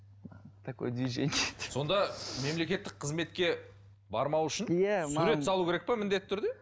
сонда мемлекеттік қызметке бармау үшін сурет салу керек пе міндетті түрде